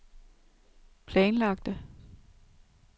planlagte